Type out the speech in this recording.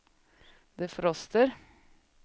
defroster